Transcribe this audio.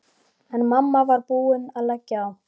En mamma var búin að leggja á.